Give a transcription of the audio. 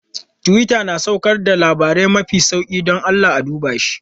Twitter na saukar da labarai mafi zafi, don Allah a duba shi.